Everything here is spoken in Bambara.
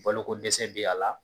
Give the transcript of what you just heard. Bolokodɛsɛ bɛ a la